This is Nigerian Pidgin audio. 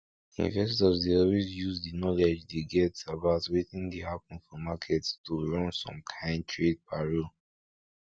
investors dey always use the knowledge dey get about wetin dey happen for market to run some kain trade parole